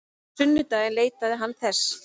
Á sunnudaginn leitaði hann þess.